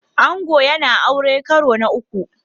Ango yana aure karo na uku